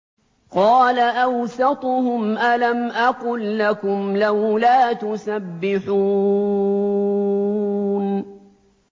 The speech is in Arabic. قَالَ أَوْسَطُهُمْ أَلَمْ أَقُل لَّكُمْ لَوْلَا تُسَبِّحُونَ